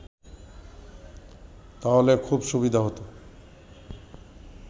তাহলে খুব সুবিধা হত